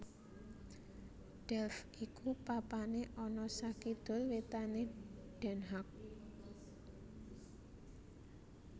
Delft iku papané ana sakidul wétané Den Haag